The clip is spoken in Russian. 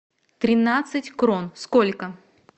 тринадцать крон сколько